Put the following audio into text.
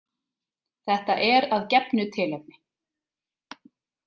Þetta er að gefnu tilefni.